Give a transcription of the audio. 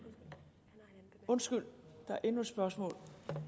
undskyld der er endnu et spørgsmål